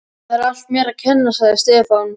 Það er allt mér að kenna, sagði Stefán.